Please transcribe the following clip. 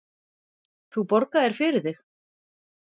Þú borgaðir fyrir þig.